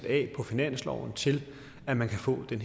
af på finansloven til at man kan få den